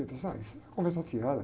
Ele falou, ah, isso é conversa fiada.